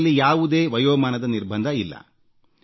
ಇದರಲ್ಲಿ ಯಾವುದೇ ವಯೋಮಾನದ ನಿರ್ಬಂಧವಿಲ್ಲ